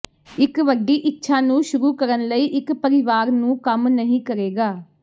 ਇੱਕ ਵੱਡੀ ਇੱਛਾ ਨੂੰ ਸ਼ੁਰੂ ਕਰਨ ਲਈ ਇੱਕ ਪਰਿਵਾਰ ਨੂੰ ਕੰਮ ਨਹੀ ਕਰੇਗਾ